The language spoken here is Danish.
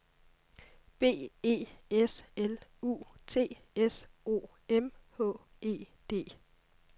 B E S L U T S O M H E D